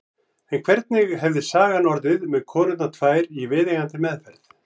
En hvernig hefði sagan orðið með konurnar tvær í viðeigandi meðferð?